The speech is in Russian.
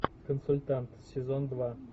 консультант сезон два